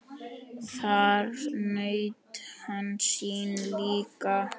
Þar naut hann sín líka.